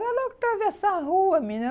Era logo atravessar a rua, menina.